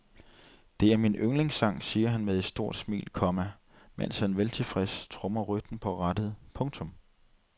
Det er min yndlingssang siger han med et stort smil, komma mens han veltilfreds trommer rytmen på rattet. punktum